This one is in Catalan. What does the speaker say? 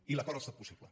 i l’acord ha estat possible